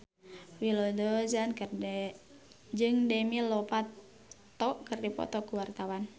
Willy Dozan jeung Demi Lovato keur dipoto ku wartawan